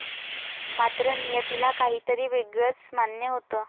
मात्र, नियतीला काहीतरी वेगळच मान्य होतं.